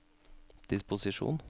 disposisjon